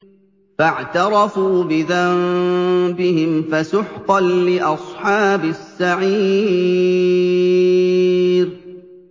فَاعْتَرَفُوا بِذَنبِهِمْ فَسُحْقًا لِّأَصْحَابِ السَّعِيرِ